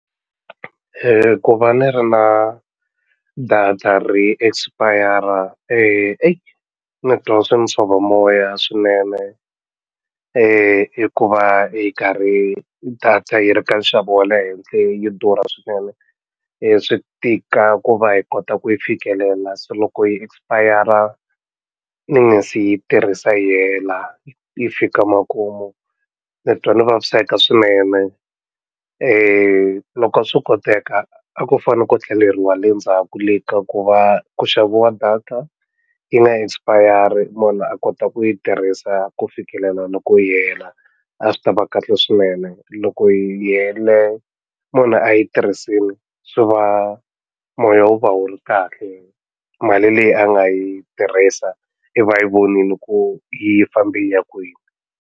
Ku va ni ri na data ri expir-a ni twa swi ni tshova moya swinene hi ku va yi karhi data yi ri ka nxavo wa le henhle yo durha swinene swi tika ku va hi kota ku yi fikelela se loko yi expir-a ni nga se yi tirhisa yi hela yi fika makumu ni twa ni vaviseka swinene loko a swo koteka a ku fane ko tlheleriwa le ndzhaku le ka ku va ku xaviwa data yi nga expire munhu a kota ku yi tirhisa ku fikelela loko yi hela a swi ta va kahle swinene loko yi hele munhu a yi tirhisile swi va moya wu va wu ri kahle mali leyi a nga yi tirhisa iva a yi vonile ku yi fambe yi ya kwini.